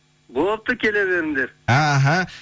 болыпты келе беріңдер іхі